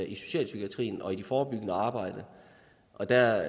i socialpsykiatrien og i det forebyggende arbejde der